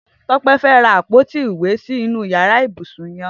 Tope fẹ̀ rà àpóti ìwé sinú iyàrá ibúsún yèn